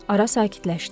Ara sakitləşdi.